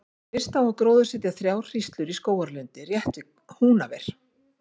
Fyrst á að gróðursetja þrjár hríslur í skógarlundi rétt við Húnaver.